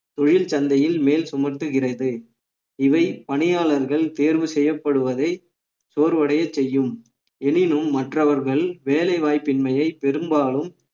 தொழில் சந்தையில் மேல் சுமத்துகிறது இவை பணியாளர்கள் தேர்வு செய்யப்படுவதை சோர்வடையச் செய்யும் எனினும் மற்றவர்கள் வேலை வாய்ப்பின்மையை பெரும்பாலும்